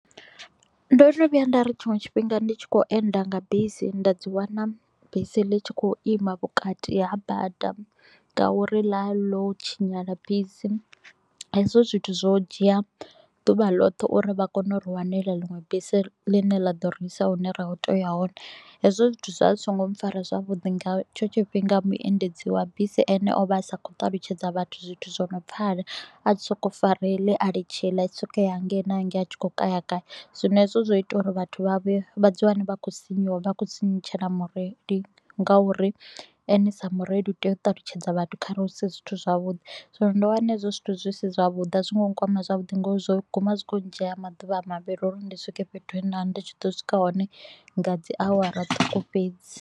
Ndo no vhuya nda ri tshiṅwe tshifhinga ndi tshi khou enda nga bisi nda dzi wana bisi ḽi tshi kho u ima vhukati ha bada, ngauri ḽa ḽo tshinyala bisi, hezwo zwithu zwo dzhia ḓuvha ḽoṱhe u ri vha kone u ri wanela ḽiṅwe bisi ḽi ne ḽa ḓo ri isa hune ra kho u tea u ya hone. Hezwo zwithu zwa zwi so ngo mpfara zwavhuḓi, nga hetsho tshifhinga muendedzi wa bisi ene o vha a sa kho u ṱalutshedza vhathu zwithu zwo no pfala. A tshi kho u so ko u fara heḽi a litsha iḽi a tshi kho u so ko u ya hangei na hangei a tshi kho u kaya kaya. Zwino hezwo zwo ita u ri vhathu vha vhe vha ḓi wane vha kho u sinyuwa vha kho u sinyutshela mureili ngauri ene sa mureili u tea u ṱalutshedza vhathu kharali hu si zwithu zwavhuḓi. So ndo wana hezwo zwithu zwi si zwavhuḓi, a zwi ngo nkwama zwavhuḓi nga u ri zwo guma zwi kho u ndzhiela maḓuvha mavhili u ri ndi swike fhethu he nda vha ndi tshi ḓo swika hone nga dzi awara ṱhukhu fhedzi.